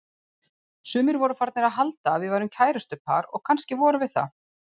Sumir voru farnir að halda að við værum kærustupar og kannski vorum við það.